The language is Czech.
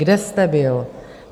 Kde jste byl?